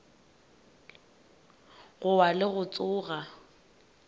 go wa le go tsoga